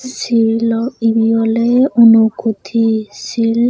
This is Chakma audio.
silo ibi ole unakoti sill.